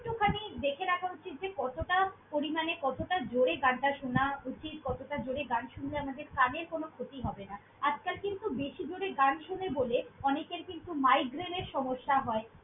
~টুখানি দেখে রাখা উচিত যে কতটা পরিমাণে, কতটা জোরে গানটা শোনা উচিত। কতটা জোরে গান শুনলে আমাদের কানের কোনো ক্ষতি হবে না! আজকাল কিন্তু বেশি জোরে গান শোনে বলে অনেকের কিন্তু migraine এর সমস্যা হয়।